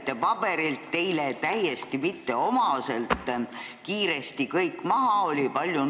Te lugesite teile täiesti mitteomaselt kiiresti kõik paberilt maha.